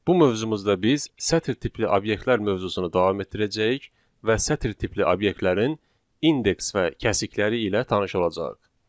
Bu mövzumuzda biz sətir tipli obyektlər mövzusunu davam etdirəcəyik və sətir tipli obyektlərin indeks və kəsikləri ilə tanış olacağıq.